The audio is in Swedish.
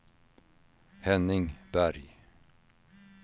Henning Berg